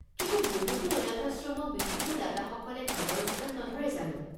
কিন্তু বহুতো অনাথাশ্ৰমক বিভিন্ন দাতাসকলে ধনৰ যোগান নধৰে জানো?